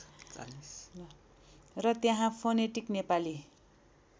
र त्यहाँ फोनेटिक नेपाली